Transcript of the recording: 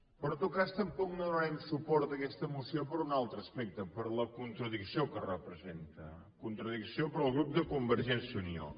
però en tot cas tampoc no donarem suport a aquesta moció per un altre aspecte per la contradicció que representa contradicció per al grup de convergència i unió